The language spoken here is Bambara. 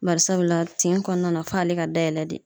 Bari sabula tin kɔɔna na f'ale ka dayɛlɛ de.